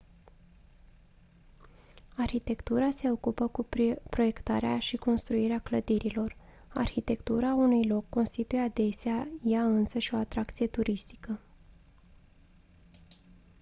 arhitectura se ocupă cu proiectarea și construirea clădirilor arhitectura unui loc constituie adesea ea însăși o atracție turistică